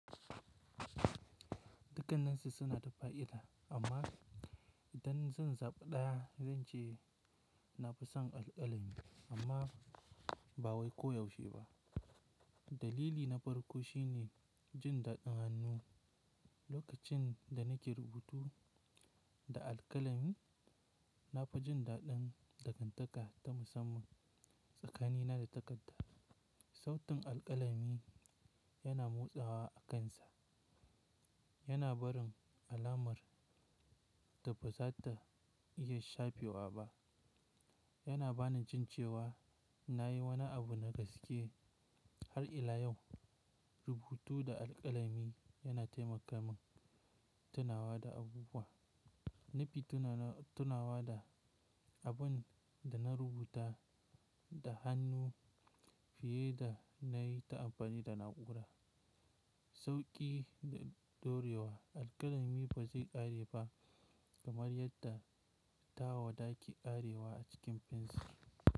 Dukkan nan suna da fa'ida amma idan zan zaɓi ɗaya zan ce na fi son alƙalami amma ba wai koyaushe ba. Dalili na farko shine jin daɗin hannu. Lokacin da nake rubutu da alƙalami, na fi jin daɗin dangantaka ta musamman tsakanina da takarda. Sautin alƙalami yana motsawa a kansa. Yana barin alamar da ba za ta iya shafewa ba. Yana bani jin cewa na yi wani abu na gaske har ila yau. Rubutu da alƙalami yana taimaka min tunawa da abubuwa. Na fi tunawa da abin da na rubuta da hannu fiye da na yi ta amfani da na'ura. Sauƙi da ɗorewa: Alƙalami ba zai ƙare ba kamar yadda tawada ke ƙarewa a cikin fensir.